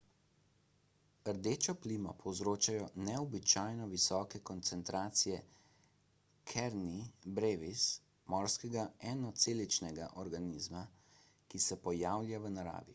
rdečo plimo povzročajo neobičajno visoke koncentracije karenie brevis morskega enoceličnega organizma ki se pojavlja v naravi